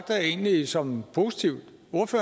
jeg egentlig som positivt